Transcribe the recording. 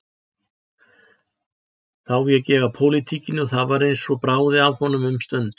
Þá vék ég að pólitíkinni og það var eins og bráði af honum um stund.